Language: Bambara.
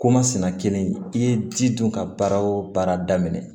Komasina kelen i ye ji dun ka baara o baara daminɛ